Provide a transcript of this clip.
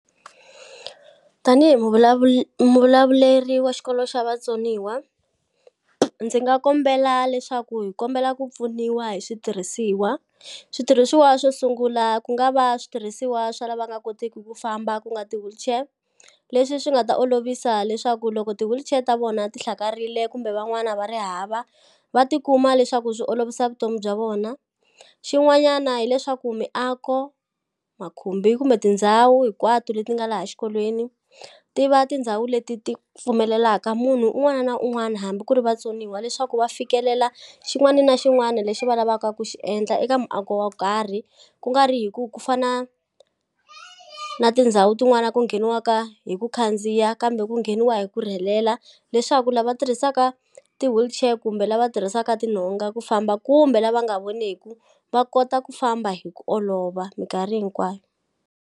Tanihi hi muvulavuleri wa xikolo xa vatsoniwa ndzi nga kombela leswaku hi kombela ku pfuniwa hi switirhisiwa, switirhisiwa swo sungula ku nga va switirhisiwa swa lava nga kotiki ku famba ku nga ti-wheelchair leswi swi nga ta olovisa leswaku loko ti-wheelchair ta vona ti hlakarile kumbe van'wana va ri hava va tikuma leswaku swi olovisa vutomi bya vona, xin'wanyana hileswaku miako makhumbi kumbe tindhawu hinkwato leti nga laha xikolweni tiva tindhawu leti ti pfumelelaka munhu un'wana na un'wana hambi ku ri vatsoniwa leswaku va fikelela xin'wani na xin'wani lexi va lavaka ku xi endla eka muako wo karhi kungari hi ku ku fana na tindhawu tin'wani ku ngheniwaka hi ku khandziya kambe ku ngheniwa hi ku rhelela leswaku lava tirhisaka ti-wheelchair kumbe lava tirhisaka tinhonga ku famba kumbe lava nga voneku va kota ku famba hi ku olova minkarhi hinkwayo.